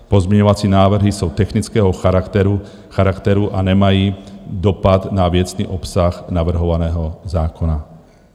Pozměňovací návrhy jsou technického charakteru a nemají dopad na věcný obsah navrhovaného zákona."